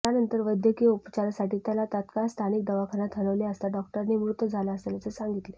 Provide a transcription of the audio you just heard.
त्यानंतर वैद्यकीय उपचारासाठी त्याला तात्काळ स्थानिक दवाखान्यात हलवले असता डॉक्टरांनी मृत झाला असल्याचे सांगितले